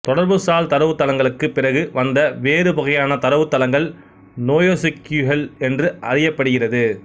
தொடர்புசால் தரவுத்தளங்களுக்கு பிறகு வந்த வேறு வகையான தரவுத்தளங்கள் நோயெசுக்கியூயெல் என்று அறியப்படுகிறது